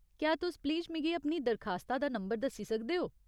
क्या तुस प्लीज मिगी अपनी दरखास्ता दा नंबर दस्सी सकदे ओ ?